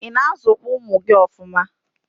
ị na-azụkwa ụmụ gị ọfụma?